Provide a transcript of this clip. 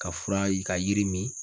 Ka fura i ka yiri min